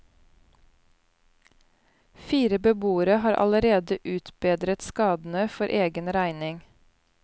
Fire beboere har allerede utbedret skadene for egen regning.